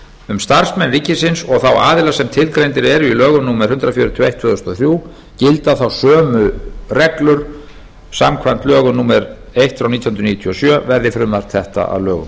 um starfsmenn ríkisins og þá aðila sem tilgreindir eru í lögum númer hundrað fjörutíu og eitt tvö þúsund og þrjú gilda þá sömu reglur samkvæmt lögum númer eitt nítján hundruð níutíu og sjö verði frumvarp þetta að lögum